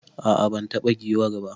A'a ban taba giwar ba.